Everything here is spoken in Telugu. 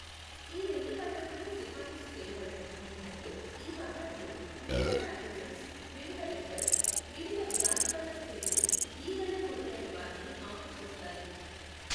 ఈ రెండు పద్ధతులు సిఫారసు చేయబడవు ఎందుకంటే ఈ పద్ధతులు వివిధ పాథోజన్స్, వివిధ వెక్టర్స్, వివిధ వ్యాధికారక క్రిములు,,ఈగలు మొదలైన వాటిని ఆకర్షిస్తాయి.